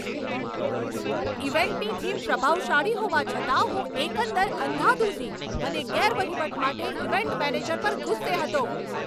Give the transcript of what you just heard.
ઈવેન્ટની theme પ્રભાવશાળી હોવા છતાં હું એકંદર અંધાધૂંધી અને ગેરવહીવટ માટે ઈવેન્ટ મેનેજર પર ગુસ્સે હતો.